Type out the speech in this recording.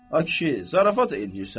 Ay kişi, zarafat eləyirsən.